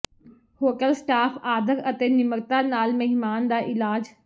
hotel staff ਆਦਰ ਅਤੇ ਨਿਮਰਤਾ ਨਾਲ ਮਹਿਮਾਨ ਦਾ ਇਲਾਜ